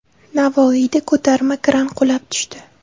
Navoiyda ko‘tarma kran qulab tushdi.